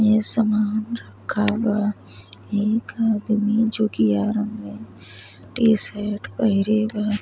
ये सामान रखा बा। एक आदमी जो कि में टी-शर्ट पहिरे बा।